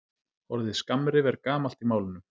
Orðið skammrif er gamalt í málinu.